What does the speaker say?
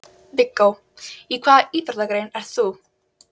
Viggó: Í hvaða íþróttagrein ert þú?